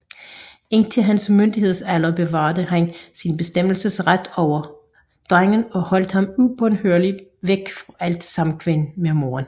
Indtil hans myndighedsalder bevarede han sin bestemmelsesret over drengen og holdt ham ubønhørligt borte fra alt samkvem med moderen